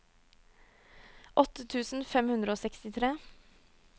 åtte tusen fem hundre og sekstitre